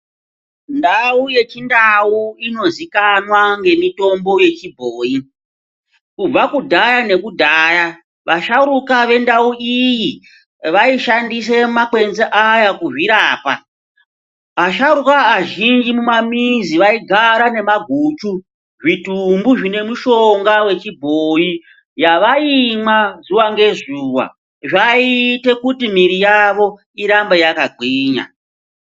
Ndau yeChindau inozikanwa ngemitombo yechibhoyi, kubva kudhaya nekudhaya vasharuka vendau iyi vaishandise makwenzi aya kuzvirapa. Ashauruka izhinji mumamizi aigara nemaguchu, zvitumbu zvine mushonga wechibhoyi, yavaimwa zuva ngezuva, zvaiite kuti miri yavo irambe yakagwinya.